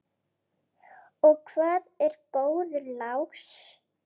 Og hvað er góður lás?